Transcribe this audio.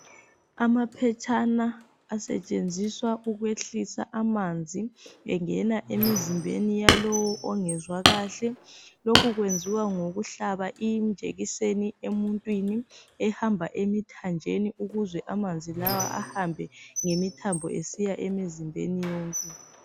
Amaphetshana asetshenziswa ukwehlisa amanzi engena emizimbeni yalowo ongezwa kahle, lokhu kwenziwa ngokuhlaba injekiseni emuntwini ehamba emithanjeni ukuze amanzi lawa ahambe ngemithambo esiya emizimbeni yonke.